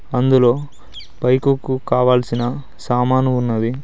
అందులో పైకుక్కు కావాల్సిన సామాను ఉన్నవి.